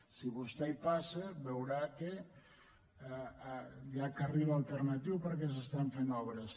si vostè hi passa veurà que hi ha carril alternatiu perquè s’estan fent obres